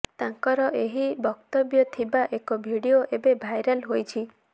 ତାଙ୍କର ଏହି ବକ୍ତବ୍ୟ ଥିବା ଏକ ଭିଡିଓ ଏବେ ଭାଇରାଲ ହୋଇଛି